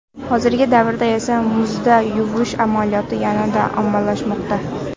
Hozirgi davrda esa muzda yuvish amaliyoti yana ommalashmoqda.